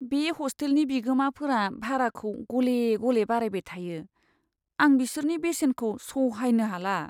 बे हस्टेलनि बिगोमाफोरा भाराखौ गले गले बारायबाय थायो, आं बिसोरनि बेसेनखौ सहायनो हाला।